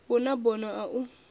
hu na bono a u